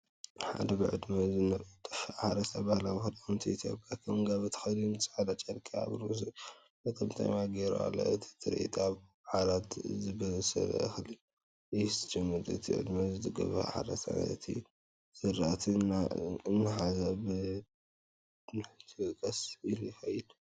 ሓደ ብዕድመ ዝደፍአ ሓረስታይ ባህላዊ ክዳውንቲ ኢትዮጵያ ከም ጋቢ ተኸዲኑ ጻዕዳ ጨርቂ ኣብ ርእሱ መጠምጠምያ ገይሩ ኣሎ። እቲ ትርኢት ኣብ ዓቢ ግራት ዝበሰለ እኽሊ እዩ ዝጅምር። እቲ ብዕድመ ዝደፍአ ሓረስታይ ነቲ ዝራእቲ እናሓዘ በትሩሒዙ ቀስ ኢሉ ይኸይድ።